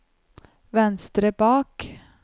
venstre bak